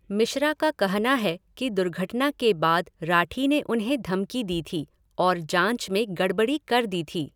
मिश्रा का कहना है कि दुर्घटना के बाद राठी ने उन्हें धमकी दी थी और जाँच में गड़बड़ी कर दी थी।